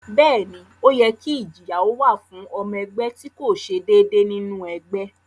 Bẹ́ẹ̀ ni, ó yẹ kí ìjìyà ó wà fún ọmọ ẹgbẹ́ tí kò ṣe déédéé nínú ẹgbẹ́